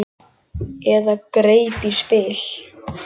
Eða greip í spil.